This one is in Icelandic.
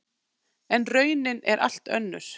En raunin er allt önnur.